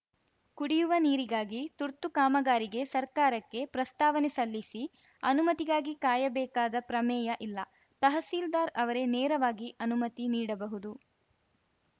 ಕುಡಿಯುವ ನೀರಿಗಾಗಿ ತುರ್ತು ಕಾಮಗಾರಿಗೆ ಸರ್ಕಾರಕ್ಕೆ ಪ್ರಸ್ತಾವನೆ ಸಲ್ಲಿಸಿ ಅನುಮತಿಗಾಗಿ ಕಾಯಬೇಕಾದ ಪ್ರಮೇಯ ಇಲ್ಲ ತಹಸೀಲ್ದಾರ್‌ ಅವರೇ ನೇರವಾಗಿ ಅನುಮತಿ ನೀಡಬಹುದು